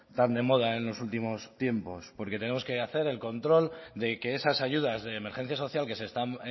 tan de moda en los últimos tiempos porque tenemos que hacer el control de que esas ayudas de emergencia social que se están